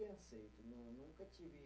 Bem aceito, não nunca tive